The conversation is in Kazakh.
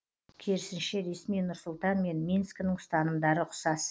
керісінше ресми нұр сұлтан мен минскінің ұстанымдары ұқсас